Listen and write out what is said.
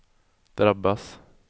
drabbas